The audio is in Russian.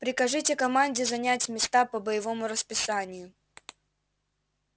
прикажите команде занять места по боевому расписанию